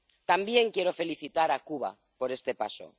También quiero felicitar a Cuba por este paso.